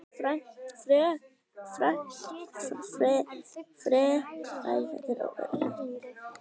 Frekara lesefni af Vísindavefnum: Hver fann upp fótboltann?